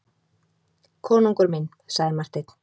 Konungur minn, sagði Marteinn.